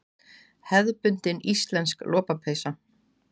Hefðbundin íslensk lopapeysa.